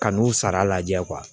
Kan'u sara lajɛ